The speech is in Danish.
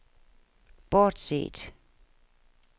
bortset